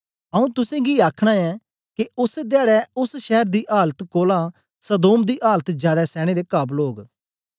आऊँ तुसेंगी आखना ऐं के ओस धयाडै ओस शैर दी आलत कोलां सदोम दी आलत जादै सैने दे काबल ओग